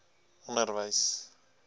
onderwys